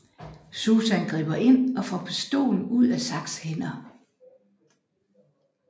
Susan griber ind og får pistolen ud af Zachs hænder